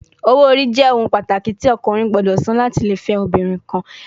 Owo ori jẹ ohun pataki ti ọkunrin gbọdọ san lati le fẹ obinrin kan